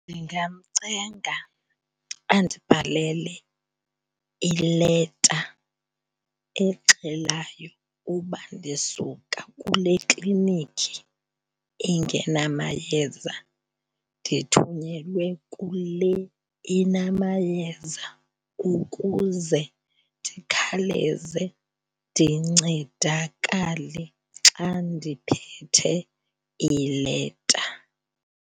Ndingamcenga andibhalele ileta exelayo uba ndisuka kule kliniki ingenamayeza ndithunyelwe kule inamayeza ukuze ndikhawuleze ndincedakale xa ndiphethe ileta.